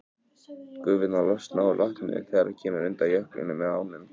Gufurnar losna úr vatninu þegar það kemur undan jöklinum með ánum.